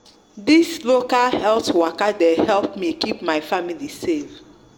this local health waka de help me keep my family safe